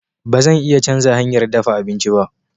Ba zan iya canza hanyar dafa abinci ba.